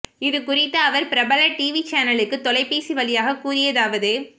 இது குறித்து அவர் பிரபல டிவி சேனலுக்கு தொலைபேசி வழியாக கூறியதாவது